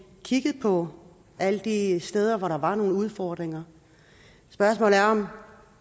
kigget på alle de steder hvor der var nogle udfordringer spørgsmålet er om